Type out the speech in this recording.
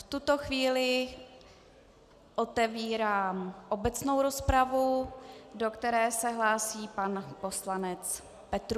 V tuto chvíli otevírám obecnou rozpravu, do které se hlásí pan poslanec Petrů.